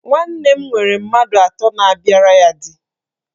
Nwanne nwere mmadụ atọ na-abịara di